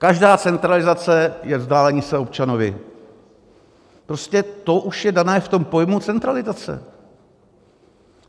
Každá centralizace je vzdálení se občanovi, prostě to už je dané v tom pojmu centralizace.